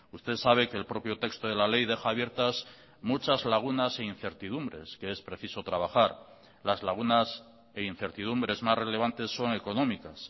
usted sabe que el propio texto de la ley deja abiertas muchas lagunas e incertidumbres que es preciso trabajar las lagunas e incertidumbres más relevantes son económicas